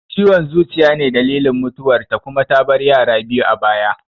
Ciwon zuciya ne dalilin mutuwar ta kuma ta bar yara biyu a baya